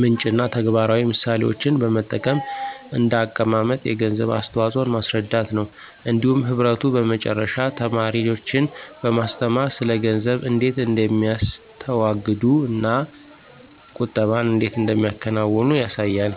ምንጭ እና ተግባራዊ ምሳሌዎችን በመጠቀም እንደ አቀማመጥ የገንዘብ አስተዋፅኦን ማስረዳት ነው። እንዲሁም ህብረቱ በመጨረሻ ተማሪዎችን በማስተማር ስለ ገንዘብ እንዴት እንደሚያስተዋግዱ እና ቁጠባን እንዴት እንደሚያከናውኑ ያሳያል።